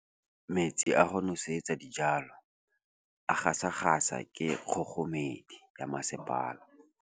Metsi a go nosetsa dijalo a gasa gasa ke kgogomedi ya masepala.